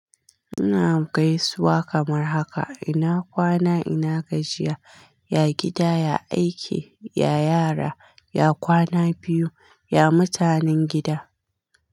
Ina gaisuwa kamar haka, ina kwana? Ina gajiya, ya gida, ya aiki, ya yara, ya kwana biyu, ya mutanen gida.